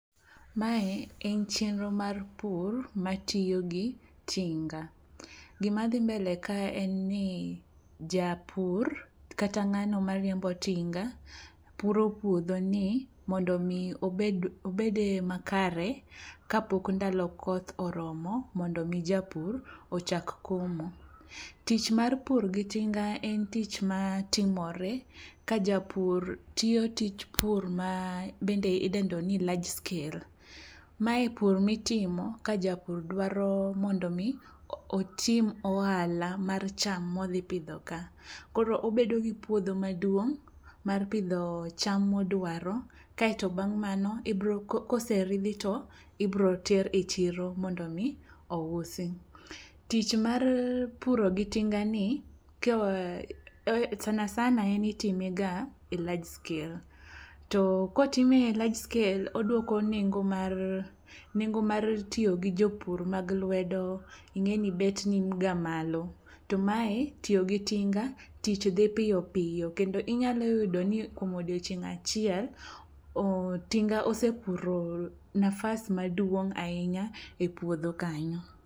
Mae en chenro mar pur matiyo gi tinga. Gimadhi mbele kae en ni japur kata ng'ano mariembo tinga puro puodhoni mondo omi obed e yo makare kapok ndalo koth oromo mondo omi japur ochak komo. Tich mar pur gi tinga en tich matimore ka japur tiyo tich pur ma bende idendo ni large scale. Mae pur mitimo ka japur dwaro mondo omi otim ohala mar cham modhipidho ka, koro obedo gi puodho maduong' mar pidho cham modwaro kaeto bang' mano koseridhi to ibroter e chiro mondo omi ousi. Tich mar puro gi tinga ni sana sana en irimega e large scale to kotime e large scale oduoko nengo mar tiyo gi jopur mag lwedo ing'e ni bet niga malo to mae tiyo gi tinga tich dhi piyopiyo kendo inyalo yudo ni kuom odiochieng' achiel tinga osepuro nafas maduong' ahinya e puodho kanyo.